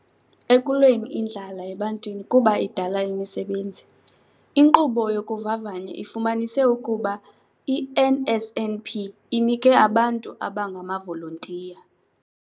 Ekulweni indlala ebantwini kuba idala imisebenzi. "Inkqubo yokuvavanya ifumanise ukuba i-NSNP inike abantu abangamavolontiya".